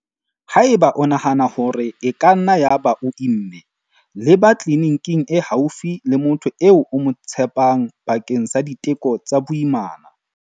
Haeba o nahana hore e ka nna ya ba o imme, leba tleliniking e haufi le motho eo o mo tshepang bakeng sa diteko tsa boimana.